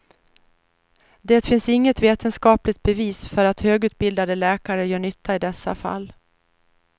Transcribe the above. Det finns inget vetenskapligt bevis för att högutbildade läkare gör nytta i dessa fall.